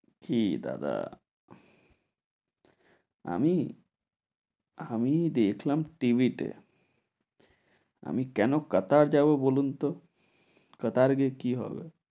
কী দাদা, আমি? আমি দেখলাম TV তে। আমি কেন কাতার যাব বলুন তো? কাতার গিয়ে কী হবে?